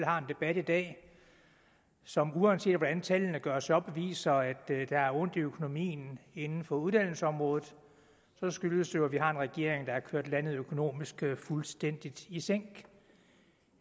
har en debat i dag som uanset hvordan tallene gøres op viser at det gør ondt i økonomien inden for uddannelsesområdet skyldes det jo at vi har en regering der har kørt landet økonomisk fuldstændig i sænk